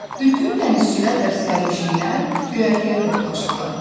Bütün dənizçilər və sərnişinlər göyərtəyə toplaşdılar.